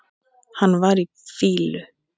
Hann var í fýlu.